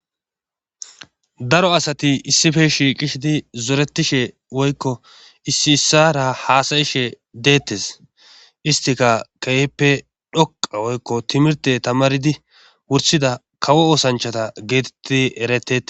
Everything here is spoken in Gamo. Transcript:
daro asati issife shiiqishidi zoretishe woykko issi issara haasayishe deettes istika qeyeppe dhoqa woykko timirte tamaridi wursida kawo osanchata geetettidi erete